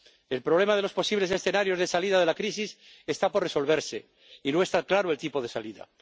El problema de los posibles escenarios de salida de la crisis está por resolverse y no está claro el tipo de salida.